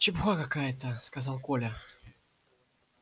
чепуха какая-то сказал коля